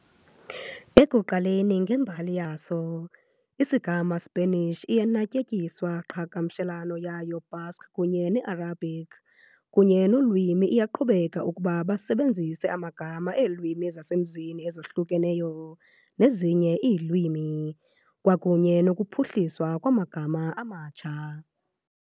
Ekuqaleni ngembali yaso, isigama Spanish iye natyetyiswa qhagamshelana yayo Basque kunye Arabic kunye ulwimi iyaqhubeka ukuba basebenzise amagama eelwimi ezasemzini ezahlukahlukeneyo nezinye iilwimi, kwakunye nokuphuhliswa amagama amatsha.